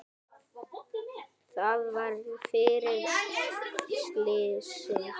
Það var fyrir slysni.